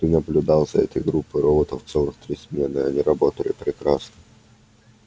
ты наблюдал за этой группой роботов целых три смены и они работали прекрасно